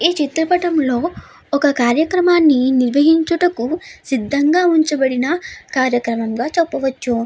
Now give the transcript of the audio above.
ఈ చిత్ర పటం లో ఒక కార్యక్రమ్మణ్ణి నిర్వహించుటకు సిద్దంగా ఉంచబడిన కార్యక్రమం గా చెప్పవచ్చు.